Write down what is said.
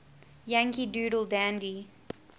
yankee doodle dandy